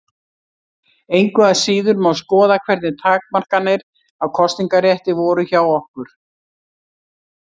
Engu að síður má skoða hvernig takmarkanir á kosningarétti voru hjá okkur.